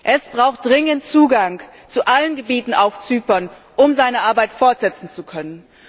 Es braucht dringend Zugang zu allen Gebieten auf Zypern, um seine Arbeit fortsetzen zu können.